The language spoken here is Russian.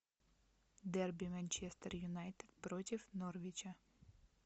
дерби манчестер юнайтед против норвича